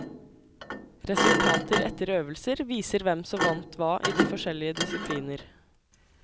Resultater etter øvelser, viser hvem som vant hva i de forskjellige disipliner.